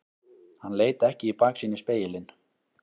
Hann leit ekki í baksýnisspegilinn.